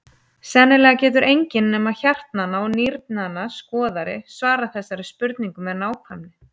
Sennilega getur enginn nema hjartnanna og nýrnanna skoðari svarað þessari spurningu með nákvæmni.